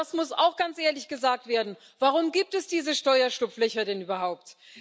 Aber das muss auch ganz ehrlich gesagt werden Warum gibt es diese Steuerschlupflöcher denn überhaupt?